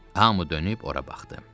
Hamı dönüb ora baxdı.